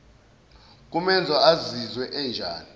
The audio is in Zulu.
kumenza azizwe enjani